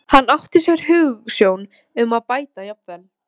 Hann átti sér hugsjón um að bæta jafnvel